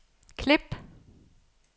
klip